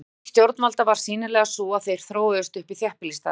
Hugmynd stjórnvalda var sýnilega sú að þeir þróuðust upp í þéttbýlisstaði.